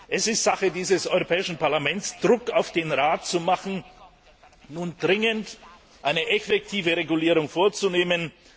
Es ist Sache dieses Europäischen Parlaments, Druck auf den Rat zu machen und dringend eine effektive Regulierung vorzunehmen